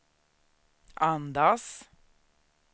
andas